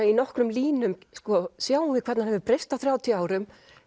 í nokkrum línum sjáum við hvernig hann hefur breyst á þrjátíu árum